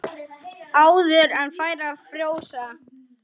Áður en færi að frjósa.